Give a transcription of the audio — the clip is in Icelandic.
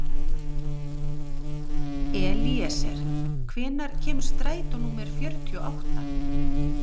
Elíeser, hvenær kemur strætó númer fjörutíu og átta?